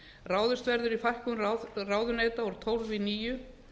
ráðist verður í fækkun ráðuneyta úr tólf í níu